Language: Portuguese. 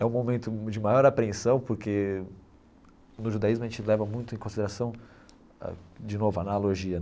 É um momento de maior apreensão porque no judaísmo a gente leva muito em consideração, de novo, a analogia.